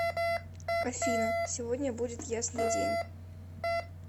афина сегодня будет ясный день